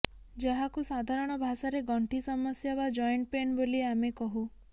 ଯାହାକୁ ସାଧାରଣ ଭାଷାରେ ଗଣ୍ଠି ସମସ୍ୟା ବା ଜଏଣ୍ଟ ପେନ୍ ବୋଲି ଆମେ କହୁ